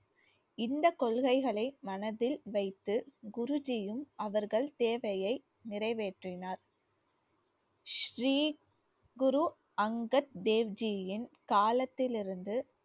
இந்தக் கொள்கைகளை மனதில் வைத்து குருஜியும் அவர்கள் சேவையை நிறைவேற்றினார் ஸ்ரீ குரு அங்கத் தேவ் ஜியின் காலத்திலிருந்து